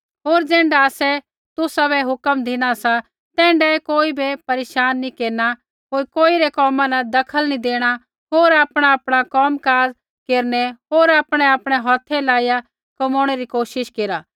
होर ज़ैण्ढा आसै तुसाबै हुक्म धिनी सा तैण्ढाऐ कोई बै परेशान नी केरना कोई रै कोमा बै दखल नी देणा होर आपणाआपणा कोम काज़ केरनै होर आपणैआपणै हौथै लाइया कमोणै री कोशिश केरा